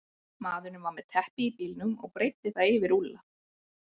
Maðurinn var með teppi í bílnum og breiddi það yfir Úlla.